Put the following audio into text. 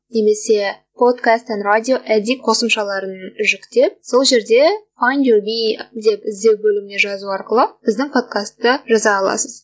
немесе подкастин радио эдит қосымшаларын жүктеп сол жерде файнд ю би деп іздеу бөліміне жазу арқылы біздің подкасты жаза аласыз